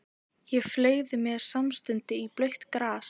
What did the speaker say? Ég fleygði mér samstundis í blautt grasið.